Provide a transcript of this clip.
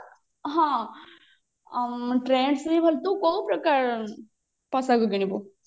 ହଁ trends ରେ ବି ଭଲ ତୁ କୋଉ ପ୍ରକାରର ପୋଷାକ କିଣିବୁ